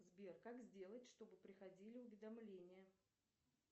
сбер как сделать чтобы приходили уведомления